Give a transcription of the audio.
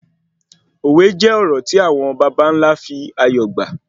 Òwe jẹ́ òrò tí àwọn bàbàńlá fi ayọ̀ gbà